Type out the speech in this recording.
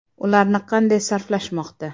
Ularni qanday sarflashmoqda?